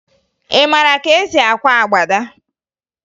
Ị mara ka e si akwa agbada?